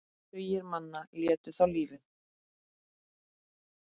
Tugir manna létu þá lífið.